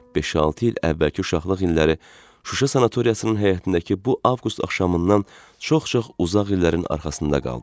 Beş-altı il əvvəlki uşaqlıq illəri Şuşa sanatoriyasının həyətindəki bu avqust axşamından çox-çox uzaq illərin arxasında qaldı.